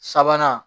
Sabanan